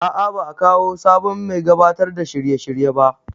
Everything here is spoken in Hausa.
A'a ba a kawo sabon mai gabatar da shirye shirye ba